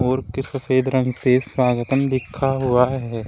और के सफेद रंग से स्वागतम लिखा हुआ है।